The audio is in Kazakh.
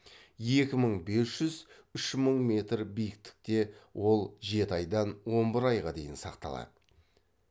екі мың бес жүз үш мың метр биіктікте ол жеті айдан он бір айға дейін сақталады